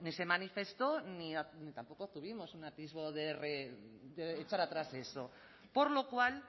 se manifestó ni tampoco obtuvimos un atisbo de echar atrás eso por lo cual